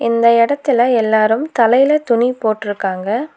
இந்த எடத்தில எல்லாரும் தலைல துணி போட்டுருக்காங்க.